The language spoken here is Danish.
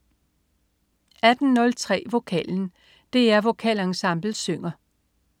18.03 Vokalen. DR Vokalensemblet synger